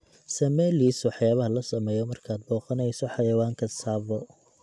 samee liis waxyaabaha la sameeyo markaad booqanayso xayawaanka tsavo